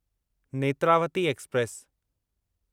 Netravati express